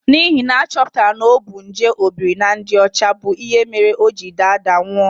N'ihi na a chọpụtara na ọ bu nje obiri na ndị ọcha bụ ihe mere o ji daa daa nwụọ.